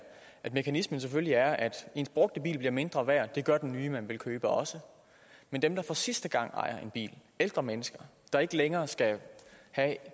at mekanismen selvfølgelig er at ens brugte bil bliver mindre værd og det gør den nye man vil købe også men dem der for sidste gang ejer en bil ældre mennesker der ikke længere skal have